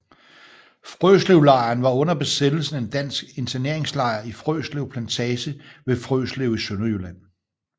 Frøslevlejren var under besættelsen en dansk interneringslejr i Frøslev Plantage ved Frøslev i Sønderjylland